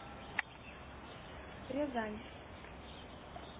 рязань